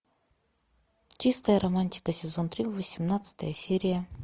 чистая романтика сезон три восемнадцатая серия